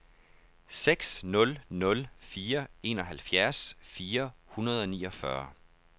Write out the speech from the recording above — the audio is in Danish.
seks nul nul fire enoghalvfjerds fire hundrede og niogfyrre